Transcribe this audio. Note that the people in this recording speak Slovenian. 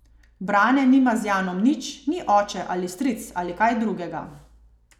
Brane nima z Janom nič, ni oče ali stric ali kaj drugega.